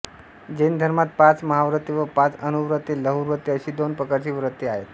जैन धर्मात पाच महाव्रते व पाच अणुव्रते लहुव्रते अशी दोन प्रकारची व्रते आहेत